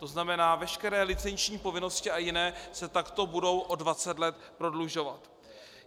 To znamená, veškeré licenční povinnosti a jiné se takto budou o 20 let prodlužovat.